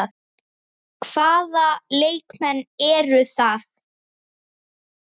Hvaða leikmenn eru það?